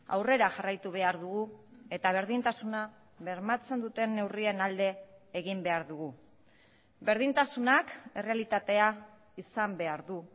aurrera jarraitu behar dugu eta berdintasuna bermatzen duten neurrien alde egin behar dugu berdintasunak errealitatea izan behar du